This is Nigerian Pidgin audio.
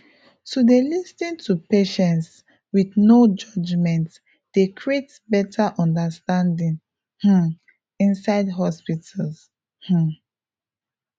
to dey lis ten to patients with no judgement dey create better understanding um inside hospitals um